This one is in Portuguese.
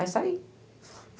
Aí saí.